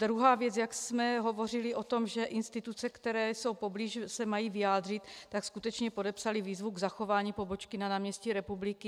Druhá věc, jak jsme hovořili o tom, že instituce, které jsou poblíž, se mají vyjádřit, tak skutečně podepsaly výzvu k zachování pobočky na náměstí Republiky.